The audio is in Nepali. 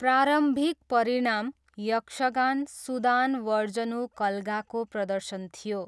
प्रारम्भिक परिणाम यक्षगान, 'सुदानवर्जुन कलगा' को प्रदर्शन थियो।